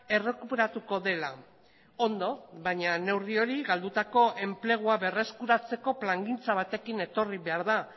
errekuperatuko dela ondo baina neurri hori galdutako enplegua berreskuratzeko plangintza batekin etorri behar da